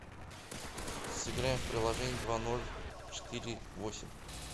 сыграем в приложение два ноль четыре восемь